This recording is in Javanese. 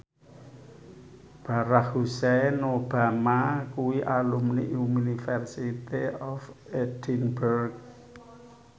Barack Hussein Obama kuwi alumni University of Edinburgh